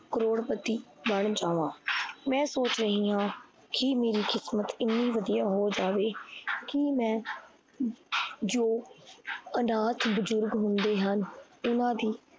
ਕਰੋੜਪਤੀ ਬਣ ਜਾਵਾ ਮੈ ਸੋਚ ਰਹੀ ਹਾਂ ਕੀ ਮੇਰੀ ਕਿਸਮਤ ਇਨਿ ਵਧੀਆ ਹੋ ਜਾਵੇ ਕੀ ਮੈ ਜੋ ਆਨਥ ਬੁਜਰਗ ਹੁੰਦੇ ਹਨ। ਇਨਾ ਦੀ